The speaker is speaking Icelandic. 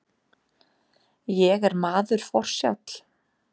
Ég er maður forsjáll.